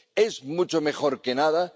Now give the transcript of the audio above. ¿Es mucho mejor que nada?